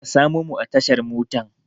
Ka samo mu a tashar motan